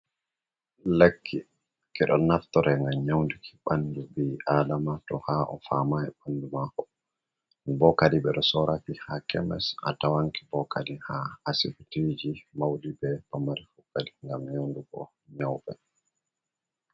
Lekki kiɗo naftore ngam nyaunduki ɓandu bi adama to haa o famai ɓandu maako o bokadi ɓe ɗo sooraki haa kemis a tawanki bookadi haa asibitiji mauɗi be pamari kokkadi ngam nyaundugo nyauɓe.